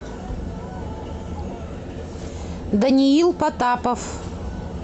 даниил потапов